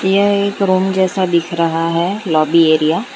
यहाँ एक रुम जैसा दिख रहा है लॉबी एरिया ।